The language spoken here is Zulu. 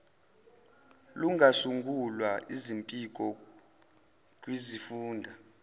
lungasungula izimpiko kwizifunda